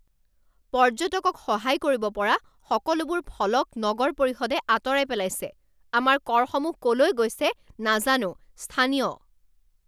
পৰ্যটকক সহায় কৰিব পৰা সকলোবোৰ ফলক নগৰ পৰিষদে আঁতৰাই পেলাইছে। আমাৰ কৰসমূহ ক'লৈ গৈছে নাজানো স্থানীয়